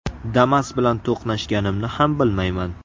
Damas bilan to‘qnashganimni ham bilmayman.